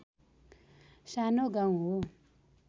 सानो गाउँ हो